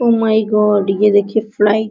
O my God ये देखिए fly --